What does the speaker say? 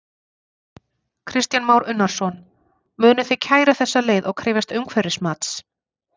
Kristján Már Unnarsson: Munuð þið kæra þessa leið og krefjast umhverfismats?